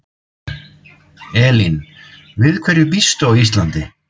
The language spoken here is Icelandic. Elín: Við hverju býstu á Íslandi?